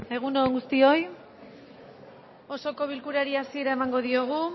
egun on guztioi osoko bilkurari hasiera emango diogu